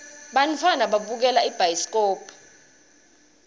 bantfwana babukela ibhayiskobhu